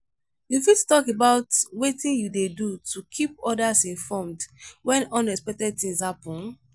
you fit talk about wetin you dey do to keep odas informed when unexpected things happen?